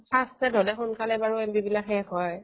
হলে সোনকালে বাৰু MB বিলাক শেষ হয়